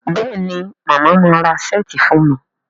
Béèni Mama má rà Ṣẹ́ẹ̀tì fún mí?